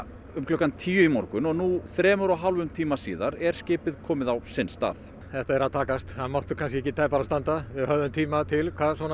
um klukkan tíu í morgun og nú þremur og hálfum tíma síðar er skipið komið á sinn stað þetta er að takast það mátti ekki tæpara standa við höfðum tíma til